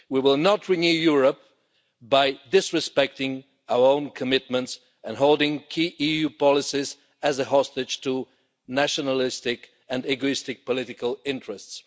We will not renew Europe by disrespecting our own commitments and holding key EU policies as a hostage to nationalistic and egoistic political interests.